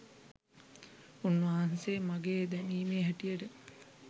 උන් වහන්සේත් මගේ දැනීමේ හැටියට